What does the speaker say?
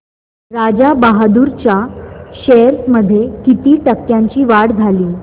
राजा बहादूर च्या शेअर्स मध्ये किती टक्क्यांची वाढ झाली